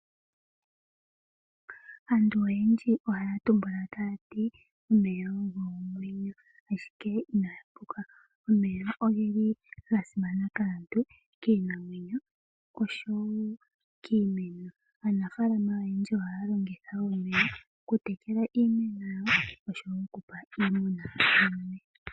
Aantu oyendji ohaya tumbula tayati omeya ogo omwenyo ,ashike inaya puka omeya ogeli ga simana kaantu kiinamwenyo oshowo kiimeno .Aanafalama oyendji ohaya longitha omeya oku tekela iimeno yawo oshowo okupa iimuna yawo.